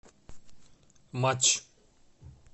матч